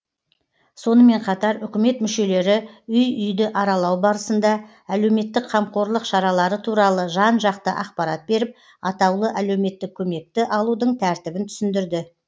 сонымен қатар үкімет мүшелері үй үйді аралау барысында әлеуметтік қамқорлық шаралары туралы жан жақты ақпарат беріп атаулы әлеуметтік көмекті алудың тәртібін түсіндірді